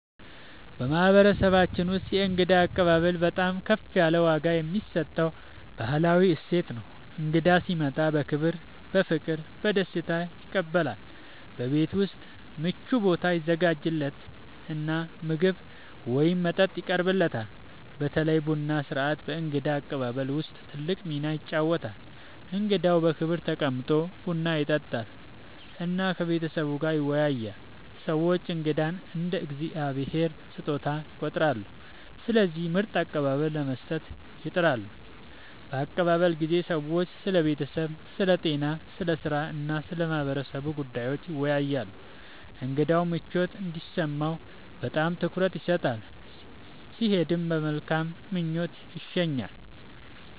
በማህበረሰባችን ውስጥ የእንግዳ አቀባበል በጣም ከፍ ያለ ዋጋ የሚሰጠው ባህላዊ እሴት ነው። እንግዳ ሲመጣ በክብር፣ በፍቅር እና በደስታ ይቀበላል፤ በቤት ውስጥ ምቹ ቦታ ይዘጋጃለት እና ምግብ ወይም መጠጥ ይቀርብለታል። በተለይ ቡና ሥርዓት በእንግዳ አቀባበል ውስጥ ትልቅ ሚና ይጫወታል፣ እንግዳው በክብር ተቀምጦ ቡና ይጠጣል እና ከቤተሰቡ ጋር ይወያያል። ሰዎች እንግዳን እንደ “የእግዚአብሔር ስጦታ” ይቆጥራሉ፣ ስለዚህ ምርጥ አቀባበል ለመስጠት ይጥራሉ። በአቀባበል ጊዜ ሰዎች ስለ ቤተሰብ፣ ስለ ጤና፣ ስለ ሥራ እና ስለ ማህበረሰቡ ጉዳዮች ይወያያሉ። እንግዳው ምቾት እንዲሰማው በጣም ትኩረት ይሰጣል፣ ሲሄድም በመልካም ምኞት ይሸኛል።